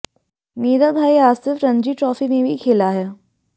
मेरा भाई आसिफ रणजी ट्राफी में भी खेला है